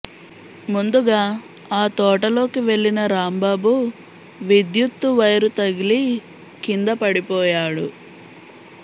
ముందుగా ఆ తోటలోకి వెళ్లిన రాంబాబు విద్యుత్తు వైరు తగిలి కింద పడిపోయాడు